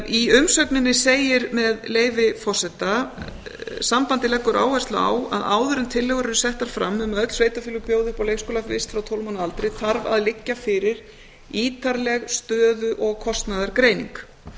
í umsögninni segir með leyfi forseta sambandið leggur áherslu á að áður en tillögur eru settar fram um að öll sveitarfélög bjóði upp á leikskólavist frá tólf mánaða aldri þarf að liggja fyrir ítarleg stöðu og kostnaðargreining